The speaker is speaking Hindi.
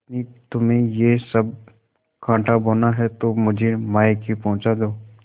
पत्नीतुम्हें यह सब कॉँटा बोना है तो मुझे मायके पहुँचा दो